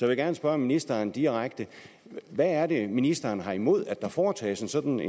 vil gerne spørge ministeren direkte hvad er det ministeren har imod at der foretages en sådan